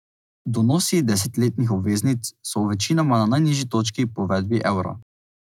Donosi desetletnih obveznic so večinoma na najnižji točki po uvedbi evra.